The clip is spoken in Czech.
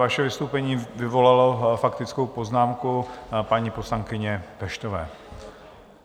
Vaše vystoupení vyvolalo faktickou poznámku paní poslankyně Peštové.